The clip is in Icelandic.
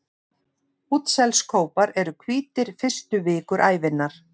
Útselskópar eru hvítir fyrstu vikur ævinnar.